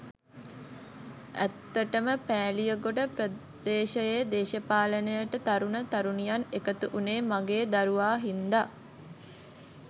ඇත්තටම පෑලියගොඩ ප්‍රදේශයේ දේශපාලනයට තරුණ තරුණියන් එකතු වුණේ මගේ දරුවා හින්දා.